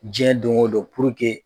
Diɲɛ don o don